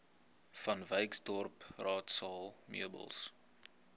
vanwyksdorp raadsaal meubels